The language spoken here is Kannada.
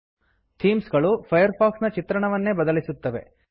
ಥೀಮ್ ಗಳು ಫೈರ್ಫಾಕ್ಸ್ ನ ಚಿತ್ರಣವನ್ನೇ ಬದಲಿಸುತ್ತವೆ